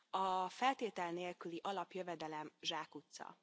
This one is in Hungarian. A feltétel nélküli alapjövedelem zsákutca.